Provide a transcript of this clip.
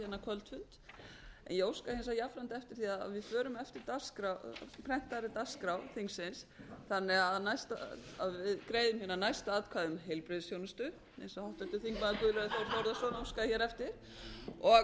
óska jafnframt eftir því að við förum eftir prentaðri dagskrá þingsins þannig að við greiðum næst atkvæði um heilbrigðisþjónustu eins og háttvirtur þingmaður guðlaugur þór þórðarson óskaði eftir og síðan förum